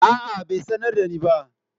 A'a bai sanar da ni ba.